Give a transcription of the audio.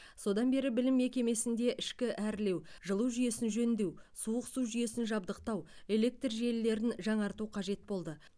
содан бері білім мекемесінде ішкі әрлеу жылу жүйесін жөндеу суық су жүйесін жабдықтау электр желілерін жаңарту қажет болды